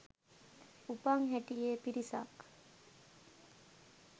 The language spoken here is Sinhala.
උපන් හැටියෙ පිරිසක්